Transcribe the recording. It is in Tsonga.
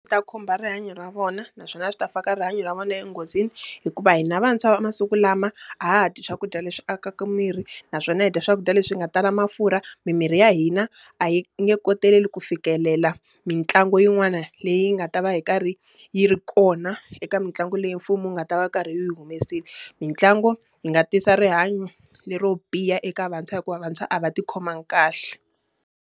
Ta khumba rihanyo ra vona, naswona swi ta fika rihanyo ra vona enghozini. Hikuva hina vantshwa va masiku lama, a ha ha dyi swakudya leswi akaka miri naswona hi dya swakudya leswi nga tala mafurha. Mimiri ya hina a yi nge koteleli ku fikelela mitlangu yin'wana leyi nga ta va yi karhi yi ri kona eka mitlangu leyi mfumo wu nga ta va wu ri karhi wu yi humesile. Mintlangu yi nga tisa rihanyo le ro biha eka vantshwa hikuva vantshwa a va ti khomangi kahle.